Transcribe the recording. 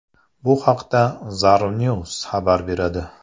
Bu haqda Zarnews xabar beradi .